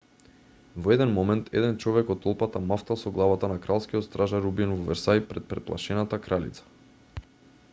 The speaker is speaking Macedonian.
во еден момент еден човек од толпата мавтал со главата на кралскиот стражар убиен во версај пред преплашената кралица